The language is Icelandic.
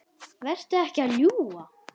Vertu ekki að ljúga!